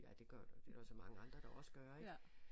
Ja det gør du det er der jo så mange andre der også gør ik